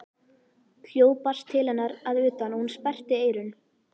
Hljóð barst til hennar að utan og hún sperrti eyrun.